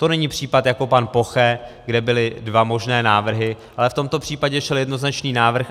To není případ jako pan Poche, kde byly dva možné návrhy, ale v tomto případě šel jednoznačný návrh.